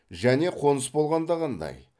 және қоныс болғанда қандай